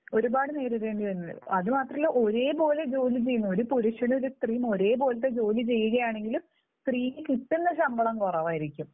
ഒരുപാട് നേരിടേണ്ടി വരുന്നുണ്ട്. അതുമാത്രമല്ല ഒരേപോലെ ജോലി ചെയ്യുന്ന, ഒരു പുരുഷനും ഒരു സ്ത്രീയും ഒരേ പോലത്തെ ജോലി ചെയ്യുകയാണെങ്കിലും സ്ത്രീക്ക് കിട്ടുന്ന ശമ്പളം കുറവായിരിക്കും.